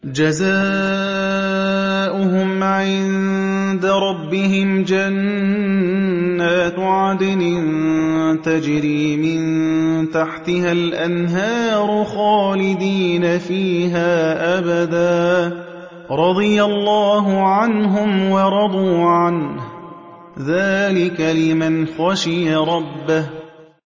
جَزَاؤُهُمْ عِندَ رَبِّهِمْ جَنَّاتُ عَدْنٍ تَجْرِي مِن تَحْتِهَا الْأَنْهَارُ خَالِدِينَ فِيهَا أَبَدًا ۖ رَّضِيَ اللَّهُ عَنْهُمْ وَرَضُوا عَنْهُ ۚ ذَٰلِكَ لِمَنْ خَشِيَ رَبَّهُ